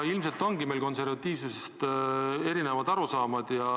Ilmselt meil on konservatiivsusest erinevad arusaamad.